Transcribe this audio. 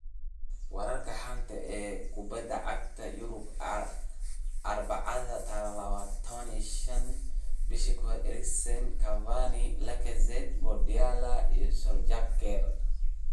Wararka xanta ah ee kubada cagta Yurub Arbacada 15.01.2020: Eriksen, Cavani, Lacazette, Guardiola, Solskjaer